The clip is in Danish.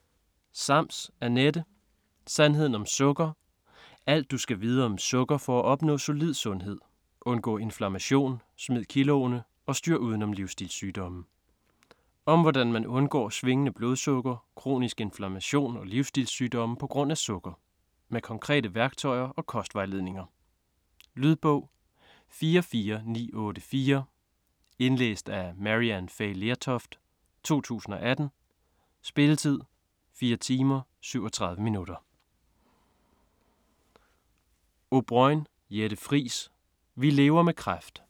Sams, Anette: Sandheden om sukker: alt, du skal vide om sukker for at opnå solid sundhed: undgå inflammation, smid kiloene og styr uden om livstilssygdomme Om hvordan man undgår svingende blodsukker, kronisk inflammation og livsstilssygdomme på grund af sukker. Med konkrete værktøjer og kostvejledninger. Lydbog 44984 Indlæst af Maryann Fay Lertoft, 2018. Spilletid: 4 timer, 37 minutter.